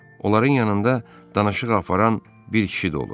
Onların yanında danışıq aparan bir kişi də olur.